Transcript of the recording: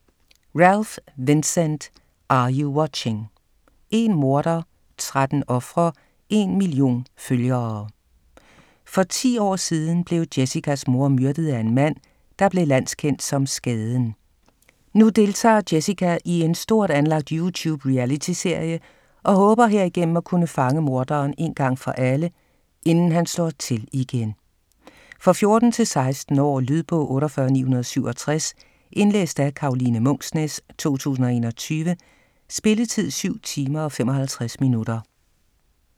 Ralph, Vincent: Are you watching?: én morder, tretten ofre, en million følgere For 10 år siden blev Jessicas mor myrdet af en mand, der blev landskendt som Skaden. Nu deltager Jessica i en stort anlagt YouTube-realityserie og håber herigennem at kunne fange morderen én gang for alle, inden han slår til igen. For 14-16 år. Lydbog 48967 Indlæst af Karoline Munksnæs, 2021. Spilletid: 7 timer, 55 minutter.